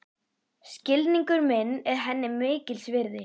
Skilningur minn er henni mikils virði.